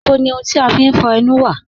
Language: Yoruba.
Níbò ni ọ̀hùn ti a fín fọ̀ ènù wa?